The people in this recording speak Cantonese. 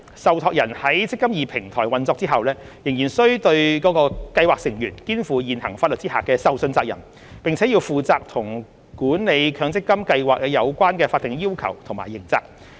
受託人在"積金易"平台運作後仍須對其計劃成員肩負現行法律下的受信責任，並負責與管理強積金計劃有關的法定要求和刑責。